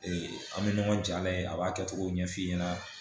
an bɛ ɲɔgɔn jala ye a b'a kɛcogo ɲɛf'i ɲɛna